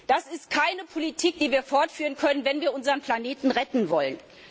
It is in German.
Das ist keine Politik, die wir fortführen können, wenn wir unseren Planeten retten wollen.